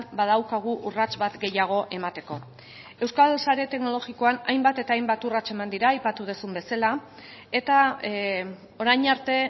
badaukagu urrats bat gehiago emateko euskal sare teknologikoan hainbat eta hainbat urrats eman dira aipatu duzun bezala eta orain arte